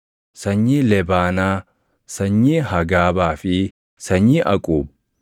sanyii Lebaanaa, sanyii Hagaabaa fi sanyii Aquub;